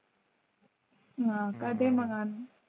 हा का दे मग आन